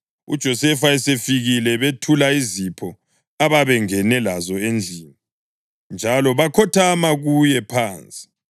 UJosefa esefikile bethula izipho ababengene lazo endlini, njalo bakhothama kuye phansi.